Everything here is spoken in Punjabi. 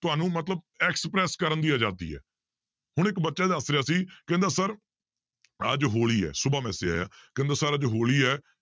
ਤੁਹਾਨੂੰ ਮਤਲਬ express ਕਰਨ ਦੀ ਆਜ਼ਾਦੀ ਹੈ ਹੁਣ ਇੱਕ ਬੱਚਾ ਦੱਸ ਰਿਹਾ ਸੀ ਕਹਿੰਦਾ sir ਅੱਜ ਹੋਲੀ ਹੈ ਸੁਬ੍ਹਾ message ਆਇਆ ਕਹਿੰਦਾ sir ਅੱਜ ਹੋਲੀ ਹੈ